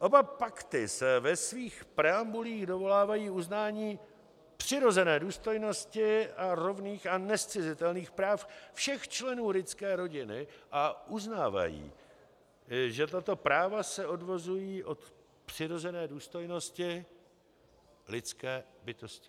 Oba pakty se ve svých preambulích dovolávají uznání přirozené důstojnosti a rovných a nezcizitelných práv všech členů lidské rodiny a uznávají, že tato práva se odvozují od přirozené důstojnosti lidské bytosti.